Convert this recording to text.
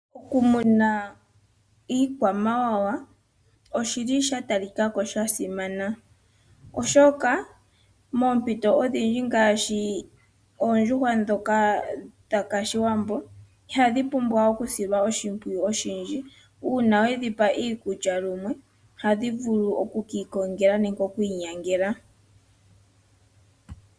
okumuna iikwamawawa oshi li shatalikako shasimana, oshoka moompito odhindji ngaashii oondjuhwa ndhoka dha kashiwambo ihadhi pumbwa okusilwa oshimpwiyu oshindji uuna wedhipa iikulya lumwe ohadhi vulu okukikongela nenge okukinyangela.